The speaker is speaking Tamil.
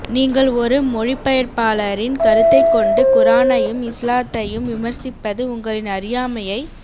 நீங்கள் ஒரு மொழிபெயர்ப்பாளரின் கருத்தை கொண்டு குரானையும் இஸ்லாத்தையும் விமர்சிப்பது உங்களின் அறியாமையை